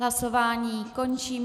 Hlasování končím.